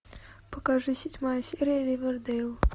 покажи седьмая серия ривердейл